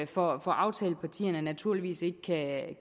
for aftalepartierne naturligvis ikke kan